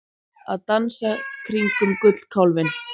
Að dansa kringum gullkálfinn